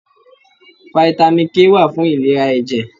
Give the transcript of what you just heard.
Fítámì K wà fún ìlera ẹ̀jẹ̀.